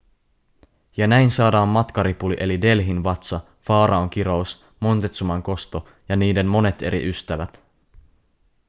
ja näin saadaan matkaripuli eli delhin vatsa faraon kirous montezuman kosto ja niiden monet eri ystävät